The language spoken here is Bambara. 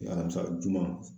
O ye alamisa juguma